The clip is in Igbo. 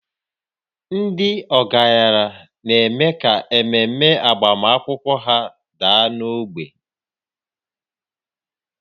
Ndị ọgaranya na-eme ka ememe agbamakwụkwọ ha daa n'ogbe